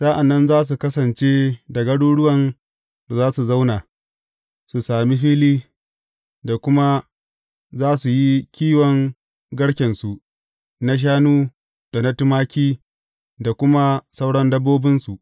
Sa’an nan za su kasance da garuruwan da za su zauna, su sami fili, da kuma za su yi kiwon garkensu na shanu da tumaki da kuma sauran dabbobinsu.